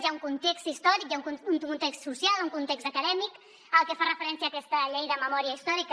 hi ha un context històric hi ha un context social un context acadèmic al que fa referència aquesta llei de memòria històrica